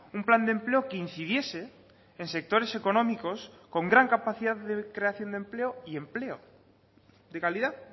un plan de empleo que incidiese en sectores económicos con gran capacidad de creación de empleo y empleo de calidad